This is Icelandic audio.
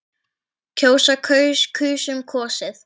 kjósa- kaus- kusum- kosið